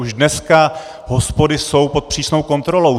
Už dneska hospody jsou pod přísnou kontrolou.